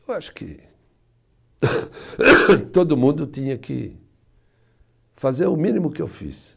Eu acho que todo mundo tinha que fazer o mínimo que eu fiz.